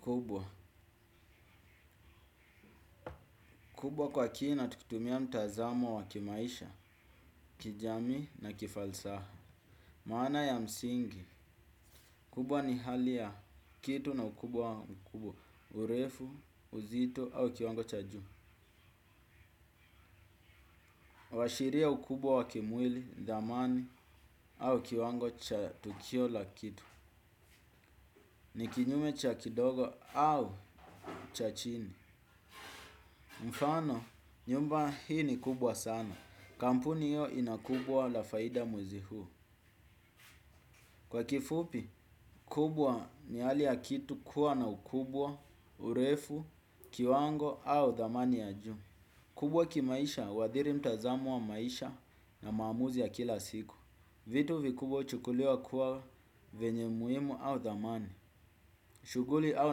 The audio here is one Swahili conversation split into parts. Kubwa. Kubwa kwa kina tukitumia mtazamo wa kimaisha kijami na kifalsaha. Maana ya msingi. Kubwa ni hali ya kitu na ukubwa mkubwa. Urefu, uzitu au kiwango cha juu. Kuashiria ukubwa wa kimwili dhamani au kiwango cha tukio la kitu. Ni kinyume cha kidogo au cha chini. Mfano, nyumba hii ni kubwa sana. Kampuni hiyo ina kubwa la faida mwezi huu. Kwa kifupi kubwa ni hali ya kitu kuwa na ukubwa, urefu, kiwango au dhamani ya juu. Kubwa kimaisha wadhiri mtazamo wa maisha na maamuzi ya kila siku. Vitu vikubwa huchukuliwa kuwa venye umuhimu au dhamani. Shughuli au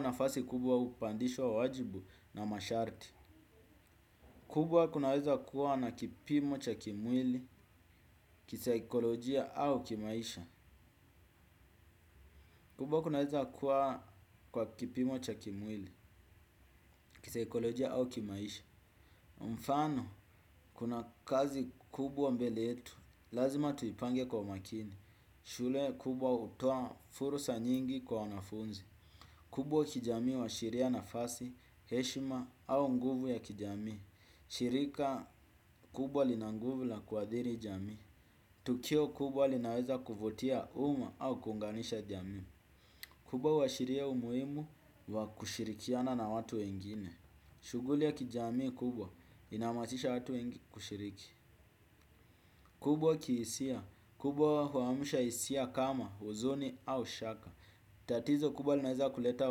nafasi kubwa upandishwa wajibu na masharti. Kubwa kunaweza kuwa na kipimo cha kimwili, kisikolojia au kimaisha. Kubwa kunaweza kuwa kwa kipimo cha kimwili, kisaikolojia au kimaisha. Mfano, kuna kazi kubwa mbele yetu. Lazima tuipange kwa makini. Shule kubwa hutoa fursa nyingi kwa wanafunzi. Kubwa kijami huashiria nafasi, heshima au nguvu ya kijamii. Shirika kubwa lina nguvu la kuadhiri jamii. Tukio kubwa linaweza kuvutia uma au kuunganisha jami. Kubwa huashiria umuhimu wa kushirikiana na watu wengine. Shughuli ya kijamii kubwa inahamasisha watu wengi kushiriki. Kubwa kiisia. Kubwa huamusha isia kama, uzoni au shaka. Tatizo kubwa linaweza kuleta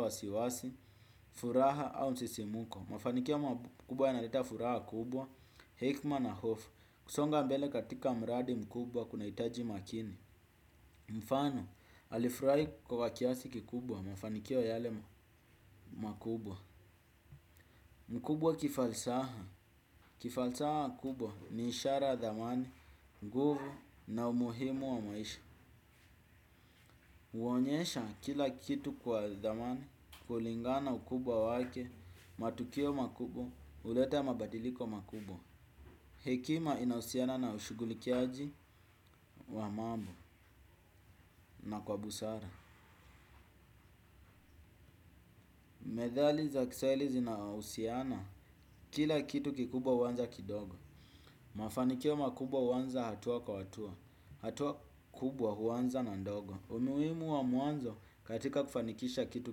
wasiwasi, furaha au msisimuko. Mafanikia makubwa yanaleta furaha kubwa, hekima na hofu. Kusonga mbele katika mradi mkubwa kuna hitaji makini. Mfano, alifurahi kwa kiasi kikubwa mafanikio yale. Mkubwa kifalsaha. Kifalsaha kubwa ni ishara dhamani, nguvu na umuhimu wa maisha. Uonyesha kila kitu kwa dhamani kulingana ukubwa wake. Matukio makubwa huleta mabadiliko makubwa. Hekima inahusiana na ushughulikiaji wa mambo na kwa busara. Methali za kiswahili zinahusiana kila kitu kikubwa huanza kidogo. Mafanikio makubwa huanza hatua kwa hatua. Hatua kubwa huwanza na ndogo. Umuhimu wa mwanzo katika kufanikisha kitu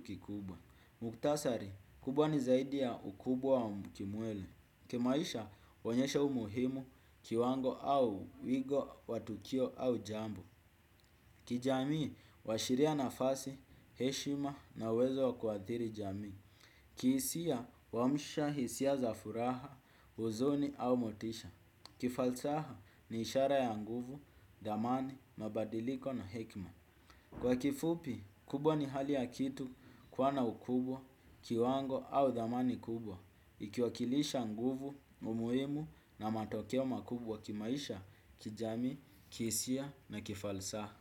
kikubwa. Mukhtasari, kubwa ni zaidi ya ukubwa wa ukimwele. Kimaisha, huonyesha umuhimu kiwango au wigo watukio au jambo. Kijamii, huashiria nafasi, heshima na uwezo wa kuathiri jamii. Kihisia, huamsha hisia za furaha, uzoni au motisha. Kifalsaha ni ishara ya nguvu, dhamani, mabadiliko na hekma. Kwa kifupi, kubwa ni hali ya kitu kuwa na ukubwa, kiwango au dhamani kubwa ikiwakilisha nguvu, umuhimu na matokeo makubwa kimaisha, kijamii, kihisia na kifalsaha.